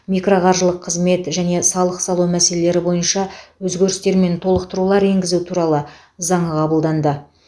микроқаржылық қызмет және салық салу мәселелері бойынша өзгерістер мен толықтырулар енгізу туралы заңы қабылданды